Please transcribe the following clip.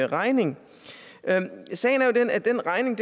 regning sagen er jo den at den regning